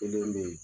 Kelen be ye